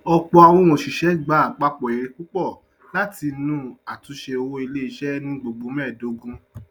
ọpọ àwọn oṣiṣẹ gba apapọ èrè púpọ láti inú àtúnṣe owó iléiṣẹ ní gbogbo mẹẹdogun